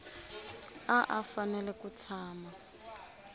a a fanele ku tshama